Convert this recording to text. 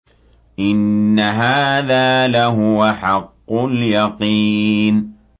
إِنَّ هَٰذَا لَهُوَ حَقُّ الْيَقِينِ